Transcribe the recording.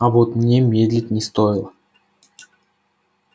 а вот мне медлить не стоило